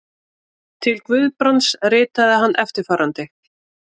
Til Guðbrands ritaði hann eftirfarandi